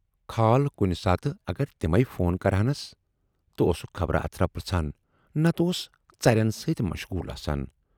کھال کُنہِ ساتہٕ اگر تِمٕے فون کرٕہنس تہٕ اوسُکھ خبر اترا پرژھان، نتہٕ اوس ژرٮ۪ن سۭتی مشغوٗل آسان۔